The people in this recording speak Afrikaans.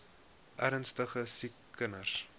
ernstige siek kinders